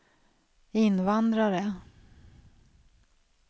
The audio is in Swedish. invandrare